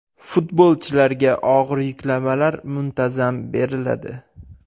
Futbolchilarga og‘ir yuklamalar muntazam beriladi.